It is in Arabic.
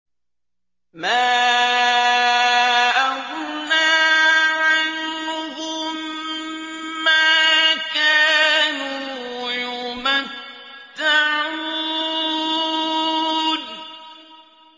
مَا أَغْنَىٰ عَنْهُم مَّا كَانُوا يُمَتَّعُونَ